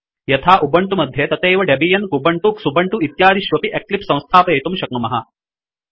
यथा उबंटु मध्ये तथैव डेबियन् कुबंटु क्सुबंटु इत्यादिष्वपि एक्लिप्स संस्थापयितुं शक्नुमः